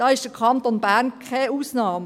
Der Kanton Bern ist dabei keine Ausnahme.